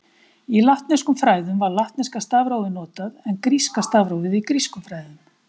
Í latneskum fræðum var latneska stafrófið notað, en gríska stafrófið í grískum fræðum.